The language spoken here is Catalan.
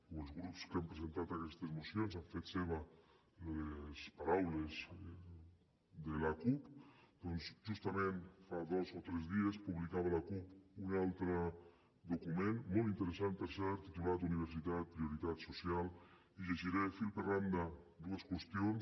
o els grups que han presentat aquestes mocions han fet seves les paraules de l’acup doncs justament fa dos o tres dies publicava l’acup un altre document molt interessant per cert titulat universitat prioritat social i llegiré fil per randa dues qüestions